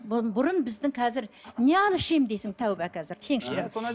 бұрын біздің қазір не алып ішемін дейсің тәуба қазір кеңшілік